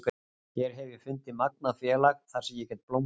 Hér hef ég fundið magnað félag þar sem ég get blómstrað.